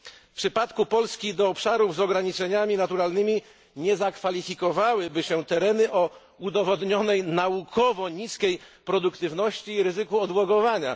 W przypadku Polski do obszarów z ograniczeniami naturalnymi nie zakwalifikowałyby się tereny o udowodnionej naukowo niskiej produktywności i ryzyku odłogowania.